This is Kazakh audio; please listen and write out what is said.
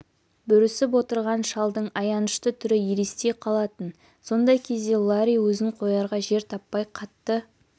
бүрісіп отырған шалдың аянышты түрі елестей қалатын сондай кезде ларри өзін қоярға жер таппай қатты